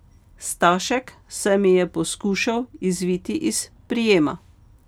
Stašek se mi je poskušal izviti iz prijema.